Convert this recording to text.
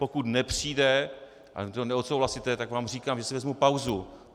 Pokud nepřijde a vy to neodsouhlasíte, tak vám říkám, že si vezmu pauzu.